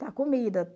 comida